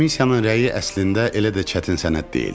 Komissiyanın rəyi əslində elə də çətin sənəd deyildi.